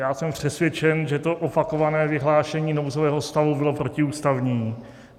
Já jsem přesvědčen, že to opakované vyhlášení nouzového stavu bylo protiústavní.